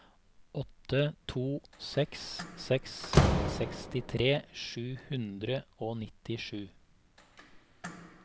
åtte to seks seks sekstitre sju hundre og nittisju